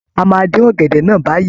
A máa dín ọ̀gẹ̀dẹ̀ náà báyìí.